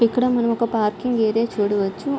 ఇక్కడ మనం ఒక పార్కింగ్ ఏరియా చూడవచ్చు.